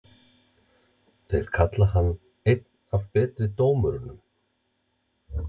Þeir kalla hann einn af betri dómurunum?